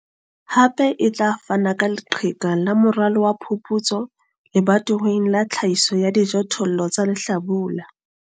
Hape e tla fana ka leqheka la moralo wa phuputso lebatoweng la tlhahiso ya dijothollo tsa lehlabula.